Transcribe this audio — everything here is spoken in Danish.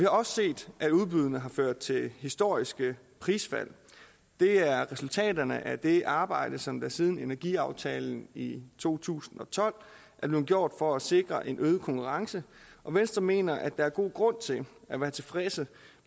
også set at udbuddene har ført til historiske prisfald det er resultaterne af det arbejde som siden energiaftalen i to tusind og tolv er blevet gjort for at sikre en øget konkurrence og venstre mener at der er god grund til at være tilfredse